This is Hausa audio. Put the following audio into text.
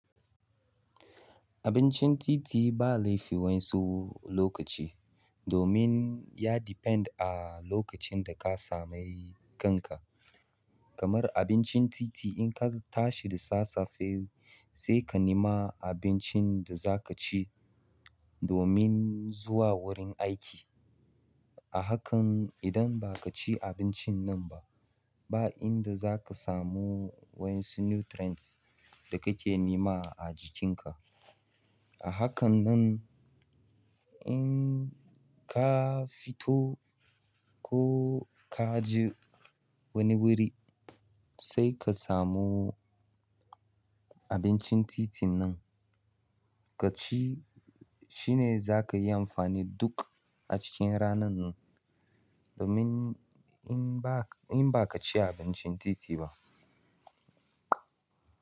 Abincin titi ba laifi wa in su lokaci domin ya depend a lokacin da ka samu kan ka kamar abincin titi in ka tashi da safe sai ka nima abincin da za ka ci domin zuwa wurin aiki. A hakan idan ha ka ci abincin ba ba inda zaka samu wasu nutrients da ka ke nema a jikin ka a hakan nan in ka fito ko ka ji wani wuri sai ka samu abincin titin nan ka ci shine za ka yi amfani duk a cikin ranan nan. Domin in ba, in ba ka ci abincin titi ba.